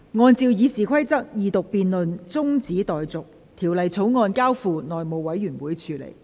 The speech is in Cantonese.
按照《議事規則》，二讀辯論中止待續，《條例草案》交付內務委員會處理。